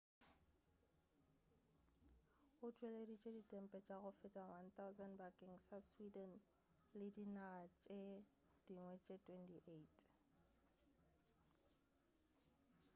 o tšweleditše ditempe tša go feta 1,000 bakeng sa sweden le dinaga tše dingwe tše 28